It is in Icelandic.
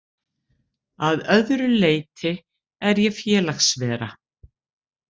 Að öðru leyti er ég félagsvera.